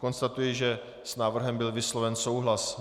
Konstatuji, že s návrhem byl vysloven souhlas.